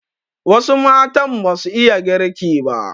Wasu matan basu iya girki ba